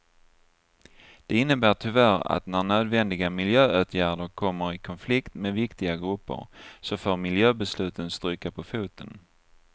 Det innebär tyvärr att när nödvändiga miljöåtgärder kommer i konflikt med viktiga grupper så får miljöbesluten stryka på foten.